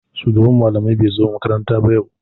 Shugaban malamai bai zo makaranta ba yau.